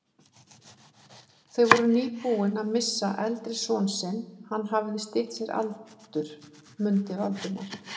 Þau voru nýbúin að missa eldri son sinn, hann hafði stytt sér aldur, mundi Valdimar.